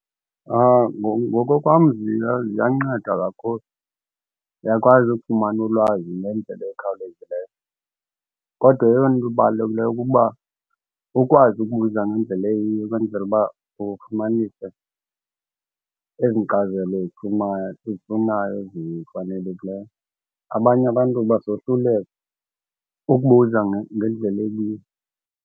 Ngokokwam ziyanceda kakhulu, uyakwazi ukufumana ulwazi ngendlela ekhawulezileyo. Kodwa eyona nto ibalulekileyo kukuba ukwazi ukubuza ngendlela eyiyo ukwenzela uba ufumanise ezi nkcazelo eziphumayo uzifunayo ezifanelekileyo. Abanye abantu basohluleka ukubuza ngendlela eyiyo.